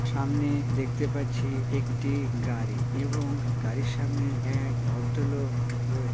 সামনে দেখতে পাচ্ছি একটি গাড়ি এবং গাড়ির সামনে এক ভদ্রলোক রয়ে --